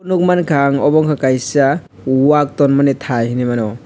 nukmankha ang obo ungkha kaisa wak tormani thai hinwimano.